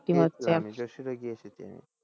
যশুরে গিয়ে এসেছি আমি।